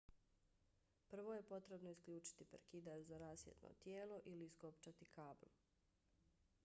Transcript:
prvo je potrebno isključiti prekidač za rasvjetno tijelo ili iskopčati kabl